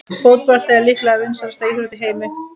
Fótbolti er líklega vinsælasta íþrótt í heimi.